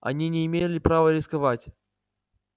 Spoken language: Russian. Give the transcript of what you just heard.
они не имела права рисковать